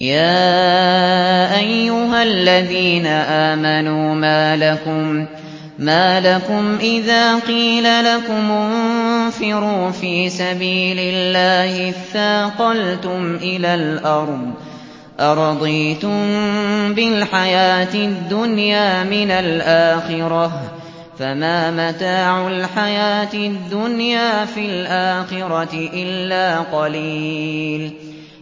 يَا أَيُّهَا الَّذِينَ آمَنُوا مَا لَكُمْ إِذَا قِيلَ لَكُمُ انفِرُوا فِي سَبِيلِ اللَّهِ اثَّاقَلْتُمْ إِلَى الْأَرْضِ ۚ أَرَضِيتُم بِالْحَيَاةِ الدُّنْيَا مِنَ الْآخِرَةِ ۚ فَمَا مَتَاعُ الْحَيَاةِ الدُّنْيَا فِي الْآخِرَةِ إِلَّا قَلِيلٌ